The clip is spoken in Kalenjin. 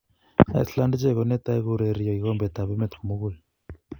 Iceland ichek konetai kourio kikombet ab emet komugul.